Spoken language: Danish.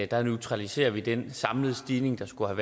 der neutraliserer vi den samlede stigning der skulle